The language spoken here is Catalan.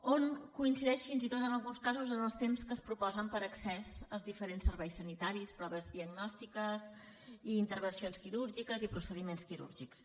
hi coincideix fins i tot en alguns casos en els temps que es proposen per a accés als diferents serveis sanitaris proves diagnòstiques i intervencions quirúrgiques i procediments quirúrgics